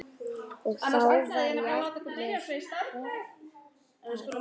Og þá var jafnvel poppað.